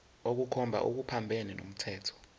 ukukhomba okuphambene nomthetho